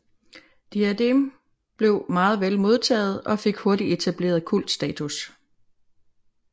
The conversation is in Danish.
Diadem blev meget vel modtaget og fik hurtigt etableret kultstatus